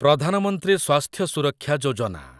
ପ୍ରଧାନ ମନ୍ତ୍ରୀ ସ୍ୱାସ୍ଥ୍ୟ ସୁରକ୍ଷା ଯୋଜନା